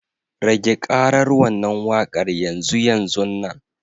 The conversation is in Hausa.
Rage ƙaran wannan waƙar yanzu yanzunnan.